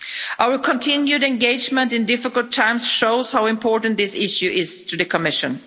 Our continued engagement in difficult times shows how important this issue is to the Commission.